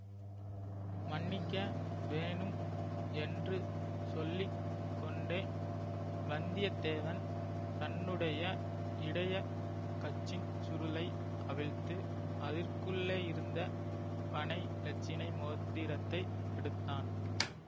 மன்னிக்க வேணும் என்று சொல்லி கொண்டே வந்தியத்தேவன் தன்னுடைய இடைய கச்சின் சுருளை அவிழ்த்து அதற்குள்ளேயிருந்த பனை இலச்சினை மோதிரத்தை எடுத்தான்